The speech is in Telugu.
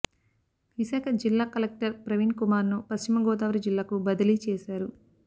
విశాఖ జిల్లా కలెక్టర్ ప్రవీణ్ కుమార్ ను పశ్చిమ గోదావరి జిల్లాకు బదిలీ చేశారు